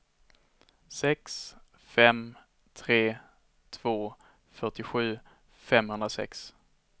sex fem tre två fyrtiosju femhundrasex